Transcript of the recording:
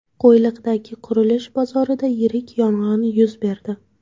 Qo‘yliqdagi qurilish bozorida yirik yong‘in yuz berdi .